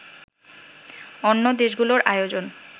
অন্য দেশগুলোর আয়োজন